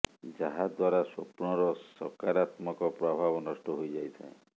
ଯାହା ଦ୍ୱାରା ସ୍ୱପ୍ନ ର ସକାରାତ୍ମକ ପ୍ରଭାବ ନଷ୍ଟ ହୋଇଯାଇଥାଏ